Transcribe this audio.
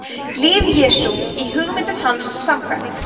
líf jesú í hugmyndum hans samkvæmt